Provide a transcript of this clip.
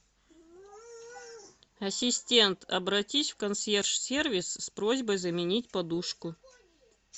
ассистент обратись в консьерж сервис с просьбой заменить подушку